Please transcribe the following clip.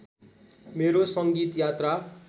मेरो सङ्गीत यात्रा